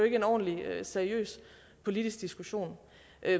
ikke en ordentlig seriøs politisk diskussion